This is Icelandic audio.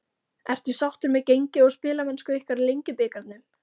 Ertu sáttur með gengi og spilamennsku ykkar í Lengjubikarnum?